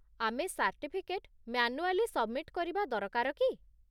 ଆମେ certificate manually submit କରିବା ଦରକାର କି ?